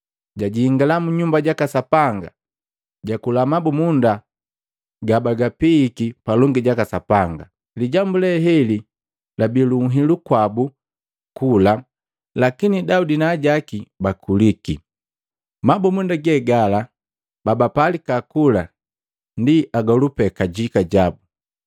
Jajingala mu nyumba jaka Sapanga jakula mabumunda gabapiiki palongi jaka Sapanga. Lijambu leheli labii lu nhilu kwabu kula lakini Daudi na ajaki bakuliki. Mabumunda gegala babapalika kula pee agolu kajika.